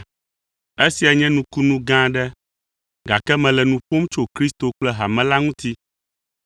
Esia nye nukunu gã aɖe, gake mele nu ƒom tso Kristo kple hame la ŋuti.